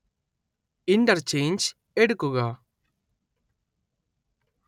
interchange എടുക്കുക